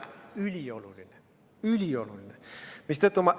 Ülioluline, ülioluline!